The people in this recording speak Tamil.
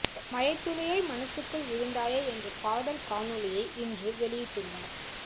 மழை துளியாய் மனசுக்குள் விழுந்தாயே என்ற பாடல் காணொளியை இன்று வெளியிட்டுள்ளார்